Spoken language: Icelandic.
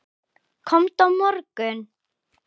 Komdu á morgun.